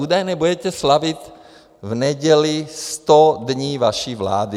Údajně budete slavit v neděli sto dní vaší vlády.